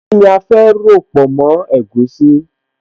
Kíni a fẹ́ ròpọ̀ mọ́ egusi?